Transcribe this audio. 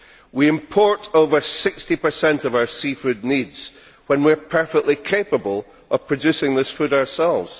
We import over 60 of our seafood needs when we are perfectly capable of producing this food ourselves.